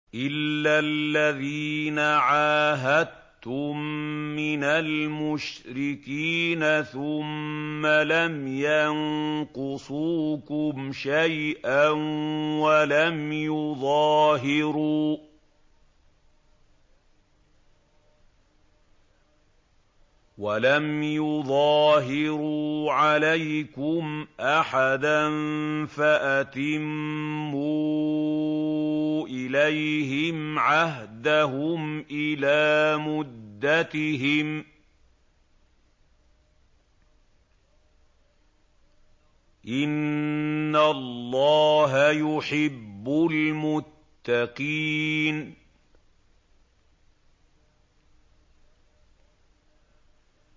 إِلَّا الَّذِينَ عَاهَدتُّم مِّنَ الْمُشْرِكِينَ ثُمَّ لَمْ يَنقُصُوكُمْ شَيْئًا وَلَمْ يُظَاهِرُوا عَلَيْكُمْ أَحَدًا فَأَتِمُّوا إِلَيْهِمْ عَهْدَهُمْ إِلَىٰ مُدَّتِهِمْ ۚ إِنَّ اللَّهَ يُحِبُّ الْمُتَّقِينَ